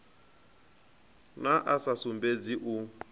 na a sa sumbedzi u